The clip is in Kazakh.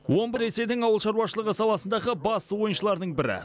омбы ресейдің ауыл шаруашылығы саласындағы басты ойыншылардың бірі